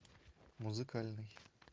музыкальный